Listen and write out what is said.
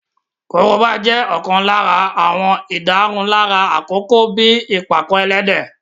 Korobá jẹ́ ọ̀kan lára àwọn ìdárunlárà àkọ́kọ́ bíi ìpàkọ-ẹlẹ́dẹ̀